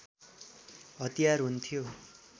हतियार हुन्थ्यो